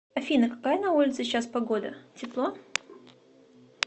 афина какая на улице сейчас погода тепло